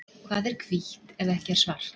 Hvað er hvítt ef ekki er svart?